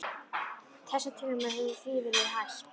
Þessum tilraunum hefur því verið hætt.